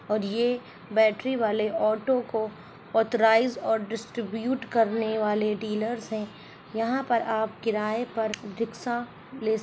और ये बैटरी वाले ऑटो को ऑथराइज्ड और डिस्ट्रीब्यूट करने वाले डीलर्स है यहा पर आप किराये पर रिकसा ले--